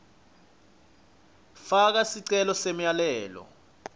faka sicelo semyalelo